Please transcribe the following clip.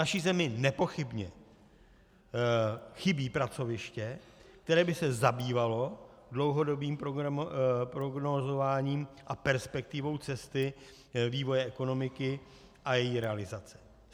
Naší zemi nepochybně chybí pracoviště, které by se zabývalo dlouhodobým prognózováním a perspektivou cesty vývoje ekonomiky a její realizace.